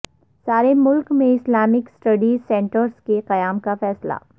سارے ملک میں اسلامک اسٹڈیز سنٹرس کے قیام کا فیصلہ